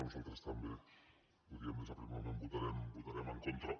nosaltres també ho diem des del primer moment hi votarem en contra